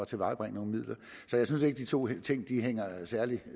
tilvejebringe nogle midler så jeg synes ikke at de to ting hænger særlig